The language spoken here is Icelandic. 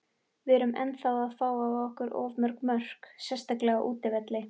Við erum ennþá að fá á okkur of mörg mörk, sérstaklega á útivelli.